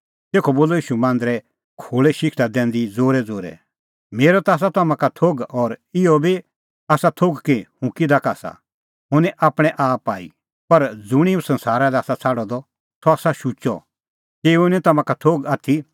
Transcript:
तेखअ बोलअ ईशू मांदरे खोल़ै शिक्षा दैंदी ज़ोरैज़ोरै मेरअ ता आसा तम्हां का थोघ और इहअ बी आसा थोघ कि हुंह किधा का आसा हुंह निं आपणैं आप आई पर ज़ुंणी हुंह संसारा लै आसा छ़ाडअ द सह आसा शुचअ तेऊओ निं तम्हां का थोघ आथी